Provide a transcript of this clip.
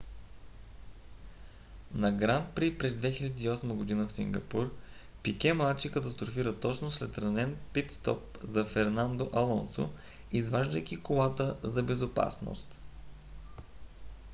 на гран при през 2008 г. в сингапур пике младши катастрофира точно след ранен пит стоп за фернандо алонсо изваждайки колата за безопасност